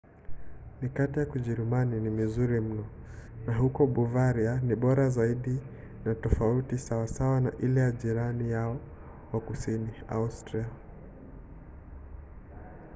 mikate ya kijerumani ni mizuri mno na huko bavaria ni bora zaidi na tofauti sawasawa na ile ya jirani yao wa kusini austria